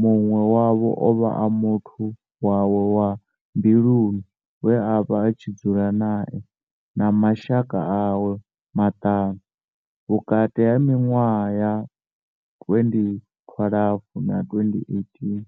munwe wavho ovha a muthu wawe wa mbiluni we avha a tshi dzula nae na mashaka awe maṱanu, vhukati ha minwaha ya 2012 na 2018.